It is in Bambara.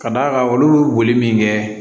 Ka d'a kan olu bɛ boli min kɛ